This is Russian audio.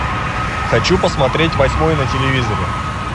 хочу посмотреть восьмой на телевизоре